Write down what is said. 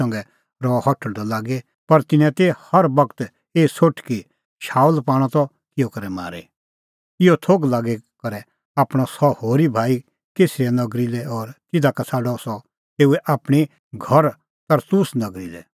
इहअ थोघ लागी करै आणअ सह होरी भाई कैसरिया नगरी लै और तिधा का छ़ाडअ सह तेऊए आपणीं घर तरसुस नगरी लै